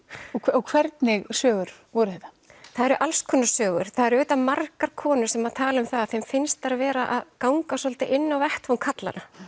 og hvernig sögur voru þetta það eru alls konar sögur það eru auðvitað margar konur sem tala um það að þeim finnst þær vera að ganga svolítið inn á vettvang karlanna